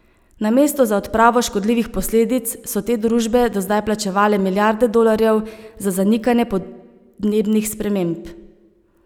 Namesto za odpravo škodljivih posledic so te družbe do zdaj plačevale milijarde dolarjev za zanikanje podnebnih sprememb.